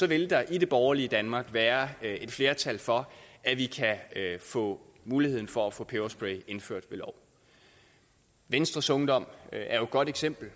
vil der i det borgerlige danmark være et flertal for at vi kan få muligheden for at få peberspray indført ved lov venstres ungdom er et godt eksempel